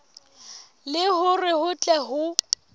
le hore ho tle ho